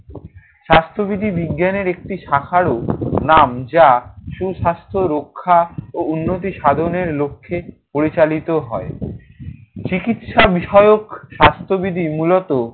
স্বাস্থ্যবিধি বিজ্ঞানের একটি শাখারও নাম। যা সুস্বাস্থ্য রক্ষা ও উন্নতি সাধনের লক্ষ্যে পরিচালিত হয়। চিকিৎসা বিষয়ক স্বাস্থ্যবিধি মূলত